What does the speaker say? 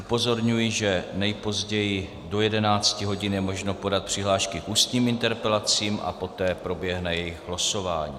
Upozorňuji, že nejpozději do 11 hodin je možno podat přihlášky k ústním interpelacím a poté proběhne jejich losování.